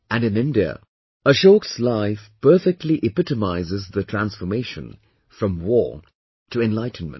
And in India, Ashok's life perfectly epitomizes the transformation from war to enlightenment